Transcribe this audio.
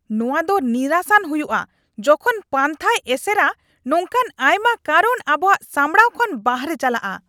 ᱱᱚᱶᱟ ᱫᱚ ᱱᱤᱨᱟᱥᱟᱱ ᱦᱩᱭᱩᱜᱼᱟ ᱡᱚᱠᱷᱚᱱ ᱯᱟᱱᱛᱷᱟᱭ ᱮᱥᱮᱨᱟ ᱱᱚᱝᱠᱟᱱ ᱟᱭᱢᱟ ᱠᱟᱨᱚᱱ ᱟᱵᱚᱣᱟᱜ ᱥᱟᱢᱵᱲᱟᱣ ᱠᱷᱚᱱ ᱵᱟᱦᱨᱮ ᱪᱟᱞᱟᱜᱼᱟ᱾ (ᱢᱮᱱᱮᱡᱟᱨ ᱒)